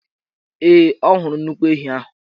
Ee, ọ hụrụ nnukwu ehi ahụ.